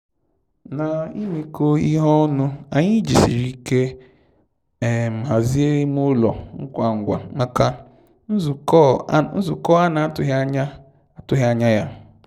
Na ịmekọ ihe ọnụ, anyị jisiri ike hazie ime ụlọ ngwa ngwa maka nzukọ a na atụghị anya atụghị anya ya.